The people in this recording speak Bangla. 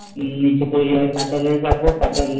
নিচে তৈরী হয় পাতাল রেলে চাপবো পাতাল রেলে